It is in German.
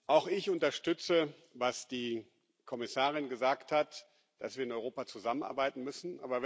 Auch ich unterstütze, was die Kommissarin gesagt hat dass wir in Europa zusammenarbeiten müssen.